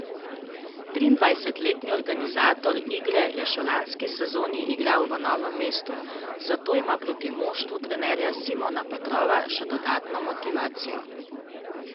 Triindvajsetletni organizator igre je še v lanski sezoni igral v Novem mestu, zato ima proti moštvu trenerja Simona Petrova še dodatno motivacijo.